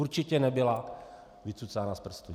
Určitě nebyla vycucána z prstu.